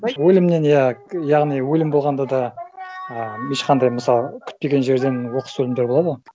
өлімнен иә яғни өлім болғанда да а ешқандай мысалы күтпеген жерден оқыс өлімдер болады ғой